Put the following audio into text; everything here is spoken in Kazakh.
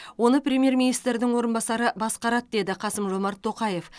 оны премьер министрдің орынбасары басқарады деді қасым жомарт тоқаев